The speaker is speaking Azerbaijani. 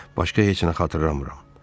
Başqa heç nə xatırlamıram.